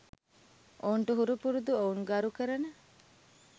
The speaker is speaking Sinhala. ඔවුන්ට හුරුපුරුදු ඔවුන් ගරුකරන